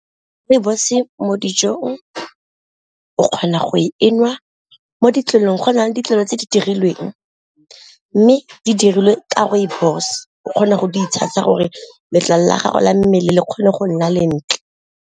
Rooibos-e mo dijong o kgona go e nwa mo ditlolong go na le ditlwaelo tse di dirilweng, mme di dirilwe ka rooibos o kgona go di itshasa gore letlalo la gago la mmele le kgone go nna lentle.